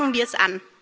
Packen wir es an!